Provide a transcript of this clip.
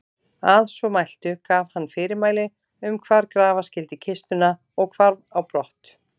Að svo mæltu gaf hann fyrirmæli um hvar grafa skyldi kistuna og hvarf á brott.